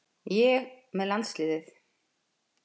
Ég með landsliðið?